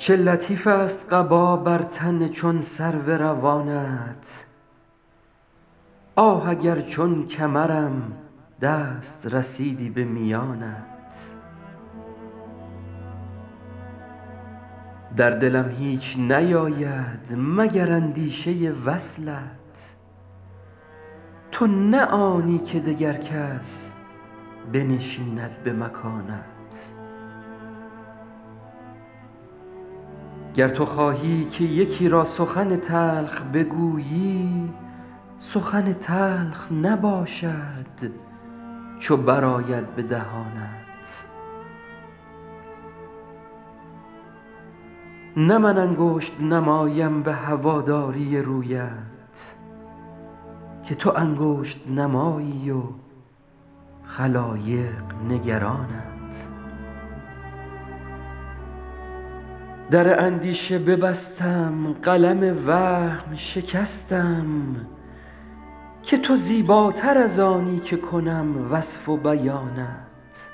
چه لطیفست قبا بر تن چون سرو روانت آه اگر چون کمرم دست رسیدی به میانت در دلم هیچ نیاید مگر اندیشه وصلت تو نه آنی که دگر کس بنشیند به مکانت گر تو خواهی که یکی را سخن تلخ بگویی سخن تلخ نباشد چو برآید به دهانت نه من انگشت نمایم به هواداری رویت که تو انگشت نمایی و خلایق نگرانت در اندیشه ببستم قلم وهم شکستم که تو زیباتر از آنی که کنم وصف و بیانت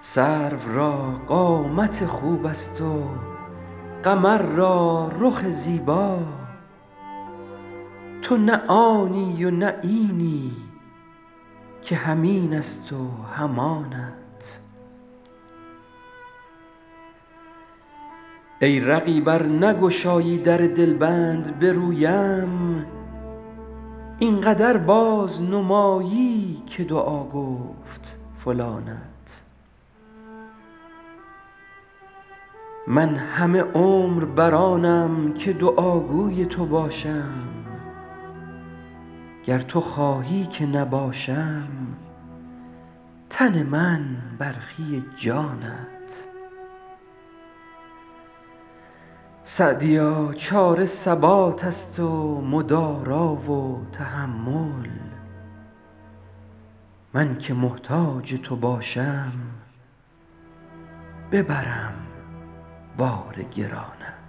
سرو را قامت خوبست و قمر را رخ زیبا تو نه آنی و نه اینی که هم اینست و هم آنت ای رقیب ار نگشایی در دلبند به رویم این قدر بازنمایی که دعا گفت فلانت من همه عمر بر آنم که دعاگوی تو باشم گر تو خواهی که نباشم تن من برخی جانت سعدیا چاره ثباتست و مدارا و تحمل من که محتاج تو باشم ببرم بار گرانت